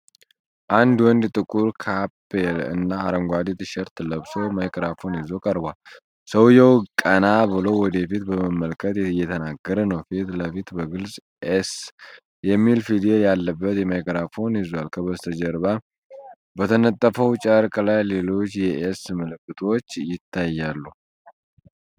አንድ ወንድ ጥቁር ካፕ እና አረንጓዴ ቲሸርት ለብሶ ማይክሮፎን ይዞ ቀርቧል። ሰውየው ቀና ብሎ ወደ ፊት በመመልከት እየተናገረ ነው። ፊት ለፊት በግልጽ "ኤስ"የሚል ፊደል ያለበት ማይክሮፎን ይዟል። ከበስተጀርባ በተነጠፈው ጨርቅ ላይ ሌሎች የ"ኤስ" ምልክቶች ይታያሉ።